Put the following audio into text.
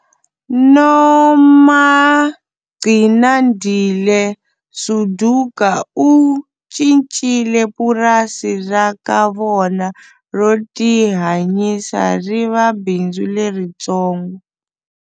Nomagcinandile Suduka u cincile purasi ra ka vona ro tihanyisa ri va bindzu leritsongo.